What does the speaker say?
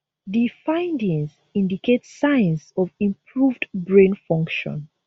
di findings indicate signs of improved brain function